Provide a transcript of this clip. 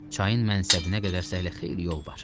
Çayın mənsəbinə qədər hələ xeyli yol var.